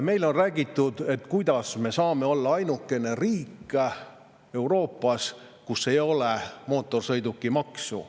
Meile on räägitud, et me oleme ainuke riik Euroopas, kus ei ole mootorsõidukimaksu.